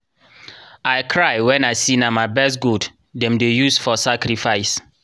i cry when i see na my best goat dem dey use for sacrifice.